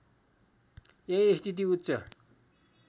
यही स्थिति उच्च